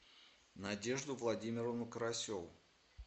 надежду владимировну карасеву